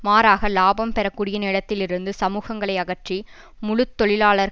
மாறாக இலாபம் பெற கூடிய நிலத்தில் இருந்து சமூகங்களை அகற்றி முழு தொழிலாளர்